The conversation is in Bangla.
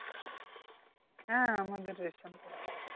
হ্যাঁ আমাদের ration card আছে